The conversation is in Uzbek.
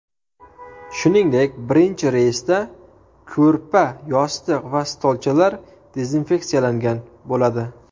Shuningdek birinchi reysda ko‘rpa, yostiq va stolchalar dezinfeksiyalangan bo‘ladi.